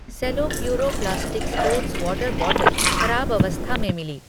सेलो Puro plastic sports water bottle खराब अवस्था में मिली।